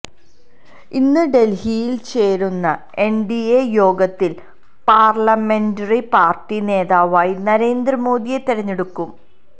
ഇന്ന് ഡൽഹിയിൽ ചേരുന്ന എൻഡിഎ യോഗത്തിൽ പാർലമെന്ററി പാർട്ടി നേതാവായി നരേന്ദ്ര മോദിയെ തെരഞ്ഞെടുക്കും